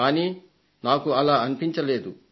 కానీ నాకు అలా అనిపించలేదు